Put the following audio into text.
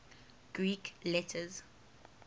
greek letters